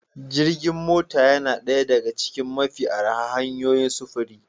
Jirgin mota yana ɗaya daga cikin mafi arha hanyoyin sufuri